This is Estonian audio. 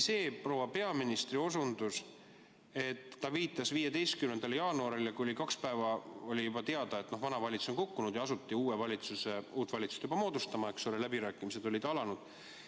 See oli proua peaministri osutus, viide 15. jaanuarile, kui oli juba kaks päeva teada, et vana valitsus on kukkunud, ja asuti uut valitsust moodustama, läbirääkimised olid alanud.